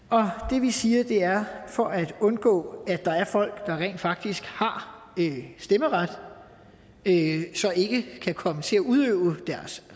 det vi siger er at for at undgå at der er folk der rent faktisk har stemmeret men ikke kan komme til at udøve deres